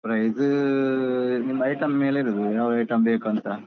Price ನಿಮ್ಮ item ಮೇಲೆ ಇರುದು ಯಾವ item ಬೇಕು ಅಂತ.